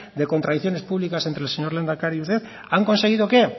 de contradicciones públicas entre el señor lehendakari y usted han conseguido qué